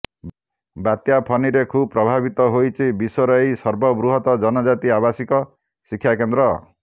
ବାତ୍ୟା ଫନିରେ ଖୁବ୍ ପ୍ରଭାବିତ ହୋଇଛି ବିଶ୍ୱର ଏହି ସର୍ବବୃହତ୍ ଜନଜାତି ଆବାସିକ ଶିକ୍ଷାକେନ୍ଦ୍ର